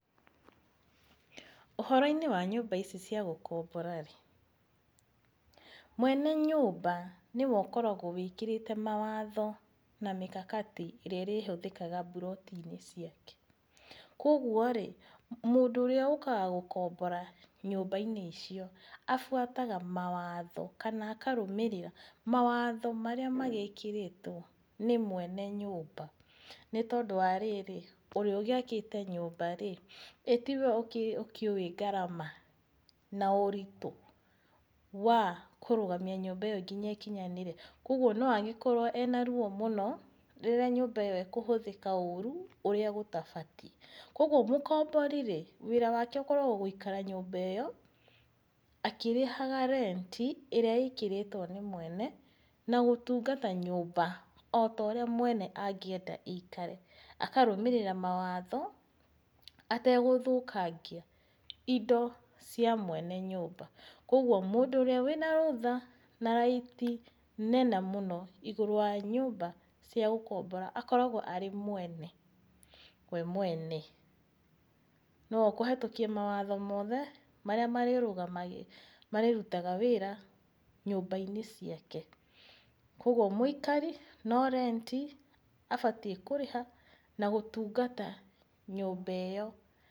Ũhoro-inĩ wa nyũmba-inĩ ici cia gũkombora-rĩ, mwene nyũmba nĩ we ũkoragwo wĩkĩrĩte mawatho na mikakati ĩrĩa ĩrĩhũthĩkaga mburoti-inĩ ciake. Kogwo rĩ, mũndũ ũrĩa ũkaga gũkombora nyũmba-inĩ icio, abuataga mawatho kana akarũmĩrĩra mawatho marĩa magĩkĩrĩtwo nĩ mwene nyũmba, nĩ tondũ wa rĩrĩ, ũrĩa ũgĩakĩte nyumba-rĩ, ĩĩ tiwe ũkĩũĩ ngarama na ũritũ wa kũrũgamka nyũmba ĩyo nginya ĩkinyanĩre? Kogwo no agĩkorwo ena ruo mũno rĩrĩa nyũmba ĩyo ĩkũhũthĩka ũru ũrĩa gũtabatiĩ. Kogwo mũkombori rĩ, wĩra wake ũkoragwo gũikara nyũmba ĩyo akĩrĩhaga rent ĩrĩa ĩkĩrĩtwo nĩ mwene, na gũtungata nyũmba ota ũrĩa mwene angĩenda ĩikare. Akarũmĩrĩra mawatho, ategũthũkangia indo cia mwene nyũmba. Koguo mũndũ ũrĩa wĩna rũtha na right nene mũno igũrũ wa nyũmba cia gũkombora akoragwo arĩ mwene, we mwene. Nĩ we ũkũhetũkia mawatho mothe, marĩa marĩrutaga wĩra nyũmba-inĩ ciake. Kogwo mũikari no rent abatiĩ kũrĩha na gũtungata nyũmba ĩyo.